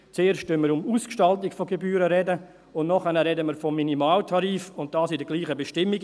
Zuerst sprechen wir von Ausgestaltung von Gebühren, und nachher sprechen wir von Minimaltarif, das in derselben gleichen Bestimmung.